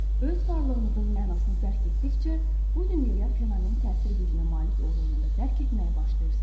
Siz öz varlığınızın mənasını dərk etdikcə, bu dünyaya fenomen təsir gücünə malik olduğunuzu da dərk etməyə başlayırsınız.